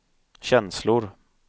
känslor